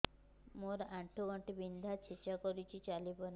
ମୋର ଆଣ୍ଠୁ ଗଣ୍ଠି ବିନ୍ଧା ଛେଚା କରୁଛି ଚାଲି ପାରୁନି